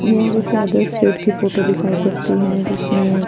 येह किसी other state की फोटो दिखाई पड़ती है जिसमे--